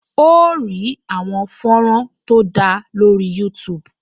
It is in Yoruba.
O óò rí àwọn fọ́nrán tó dára lórih Youtube